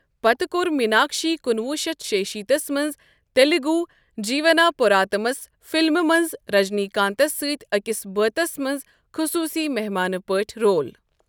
پتہٕ کوٚر میناکشی کُنوُہ شیتھ شُشیتیس منٛز تیلگو جیٖونا پوراتمس فلمہ منٛز رجنی کانتس سۭتۍ أکِس بٲتس منٛز خصوصی مہمانہ پٲٹھۍ رول ۔